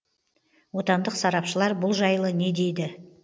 отандық сарапшылар бұл жайлы не дейді